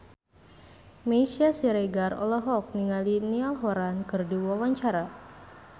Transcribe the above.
Meisya Siregar olohok ningali Niall Horran keur diwawancara